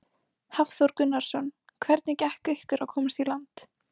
Hafþór Gunnarsson: Hvernig gekk ykkur að komast í land?